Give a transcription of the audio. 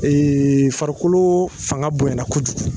farikolo fanga bonyna kojugu.